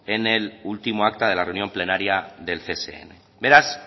en el último acta de la reunión plenaria del csn beraz